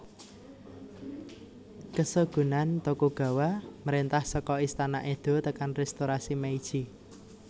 Keshogunan Tokugawa mréntah saka Istana Edo tekan Restorasi Meiji